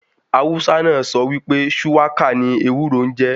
Hausa náà sọ wípé Shuwaka ni ewúro n jẹ́.